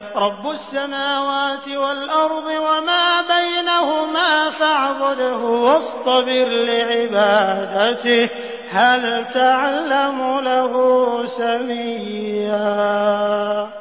رَّبُّ السَّمَاوَاتِ وَالْأَرْضِ وَمَا بَيْنَهُمَا فَاعْبُدْهُ وَاصْطَبِرْ لِعِبَادَتِهِ ۚ هَلْ تَعْلَمُ لَهُ سَمِيًّا